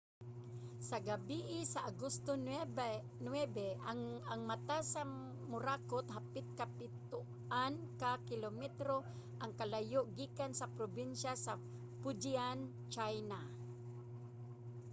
sa gabii sa agosto 9 ang mata sa morakot hapit kapitoan ka kilometro ang kalayo gikan sa probinsiya sa fujian sa china